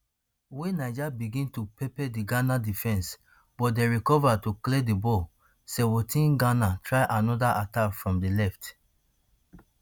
wia niger begin to pepper di ghana defence but dem recover to clear di ball seventeenghana try anoda attack from di left